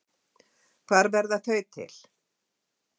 Hvar verða þau til?